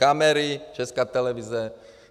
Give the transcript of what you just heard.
Kamery, Česká televize.